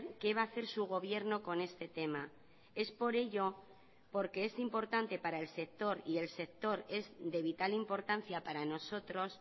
qué va a hacer su gobierno con este tema es por ello porque es importante para el sector y el sector es de vital importancia para nosotros